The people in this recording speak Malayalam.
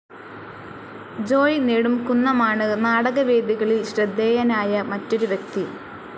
ജോയ്‌ നെടുംകുന്നമാണ് നാടക വേദികളിൽ ശ്രദ്ധേയനായ മറ്റൊരു വ്യക്തി.